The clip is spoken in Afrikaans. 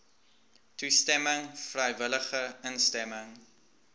toestemming vrywillige instemming